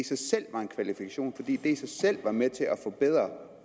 sig selv var en kvalifikation fordi det i sig selv var med til at forbedre